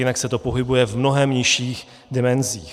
Jinak se to pohybuje v mnohem nižších dimenzích.